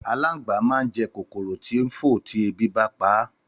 Àlàngbá mà n je kòkòrò tí ń fò ti ebí bá ń paá